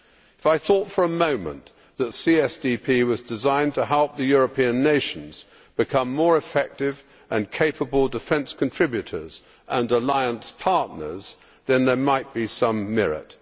If I thought for a moment that CSDP was designed to help the European nations become more effective and capable defence contributors and alliance partners, then there might be some merit.